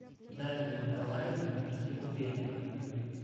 дарья николаевна тригубенко